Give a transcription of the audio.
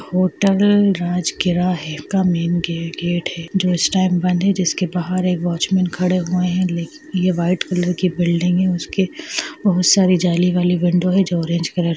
hotel Rajgir gate है जो इस टाइम बंद है जिसके बाहर एक वॉचमन खड़े हुए है लेकिन ये वाइट कलर की बिल्डिंग है उसकी बोहत सारी जाली वाली विंडो जो ऑरेंज कलर--